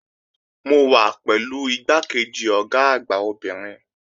Mo wà pẹ̀lú igbákejì Ọ̀gá àgbà obìnrin